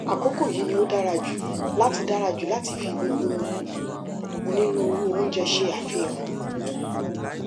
àkókò yìí ni ó dára jù láti dára jù láti fi gbogbo onírúurú oúnjẹ ṣe àfihàn